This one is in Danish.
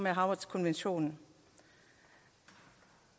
havretskonventionen